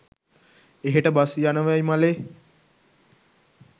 එහෙට බස් යනවැයි මලේ